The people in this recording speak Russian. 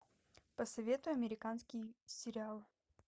посоветуй американский сериал